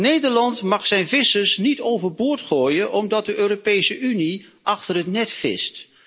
Nederland mag zijn vissers niet overboord gooien omdat de Europese Unie achter het net vist.